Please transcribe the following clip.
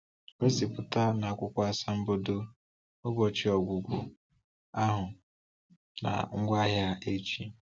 Gosipụta n’akwụkwọ asambodo ụbọchị ọgwụgwọ ahụ na ngwaahịa eji.